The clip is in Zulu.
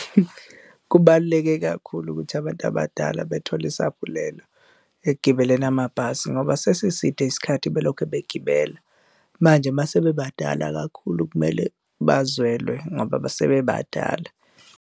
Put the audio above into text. Kubaluleke kakhulu ukuthi abantu abadala bethole isaphulelo ekugibeleni amabhasi ngoba sesiside isikhathi belokhe begibela manje mase bebadala kakhulu, kumele bazwelwe ngoba sebebadala.